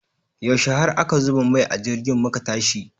Yaushe har aka zuba mai a jirgin muka tashi?